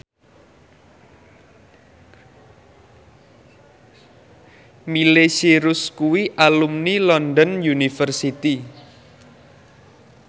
Miley Cyrus kuwi alumni London University